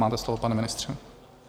Máte slovo, pane ministře.